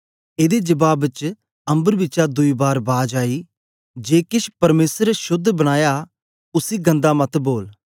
एदे जबाब च अम्बर बिचा दुई बार बाज आई जे केछ परमेसर ने शोद्ध बनाया उसी गन्दा मत बोल